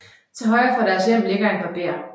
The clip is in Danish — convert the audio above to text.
Til højre for deres hjem ligger en barber